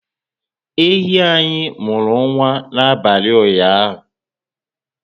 Ehi anyị muru nwa na abalị ụnyaahụ